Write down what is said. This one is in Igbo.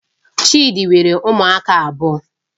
Chidi nwere ụmụaka abụọ